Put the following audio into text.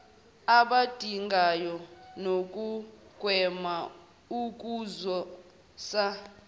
abadingayo nokugwema ukuzwisa